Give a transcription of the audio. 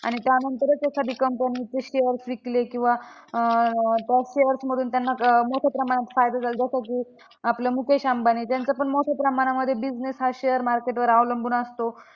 त्यानंतरच एखादी company चे shares विकले किंवा अं त्या shares मधून त्यांना अं मोठ्या प्रमाणात फायदा झाला. जसं की आपला मुकेश अंबानी त्यांचं पण मोठ्या प्रमाणामध्ये business हा share market वर अवलंबून असतो.